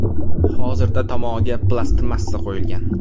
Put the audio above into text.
Hozirda tomog‘iga plastmassa qo‘yilgan.